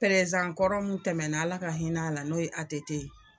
kɔrɔ mun tɛmɛna ala ka hinɛ a la n'o ye ATT ye .